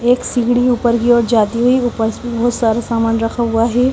एक सीढी ऊपर कि और जाती हुई ऊपर वो सारा सामान रखा हुआ है।